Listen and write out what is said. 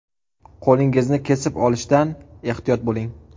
Qo‘lingizni kesib olishdan ehtiyot bo‘ling!